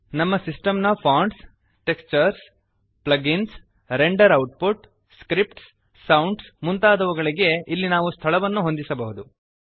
ನಮ್ಮ ಸಿಸ್ಟೆಮ್ ನ fonts textures plugins render output scripts sounds ಮುಂತಾದವುಗಳಿಗೆ ಇಲ್ಲಿ ನಾವು ಸ್ಥಳವನ್ನು ಹೊಂದಿಸಬಹುದು